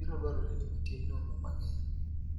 biro dwarore ni otim nonro mang�eny.